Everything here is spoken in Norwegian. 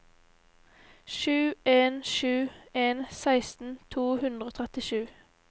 sju en sju en seksten to hundre og trettisju